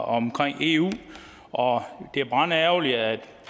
omkring eu og det er brandærgerligt at